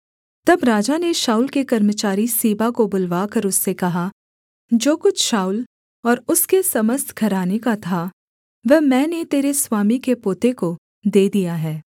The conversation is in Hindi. तब राजा ने शाऊल के कर्मचारी सीबा को बुलवाकर उससे कहा जो कुछ शाऊल और उसके समस्त घराने का था वह मैंने तेरे स्वामी के पोते को दे दिया है